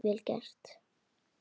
Vel gert.